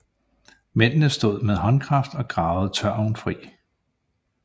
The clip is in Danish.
Mændene stod med håndkraft og gravede tørven fri